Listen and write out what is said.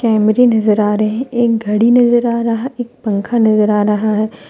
कैमरे नजर आ रहें एक घड़ी नजर आ रहा एक पंखा नजर आ रहा है।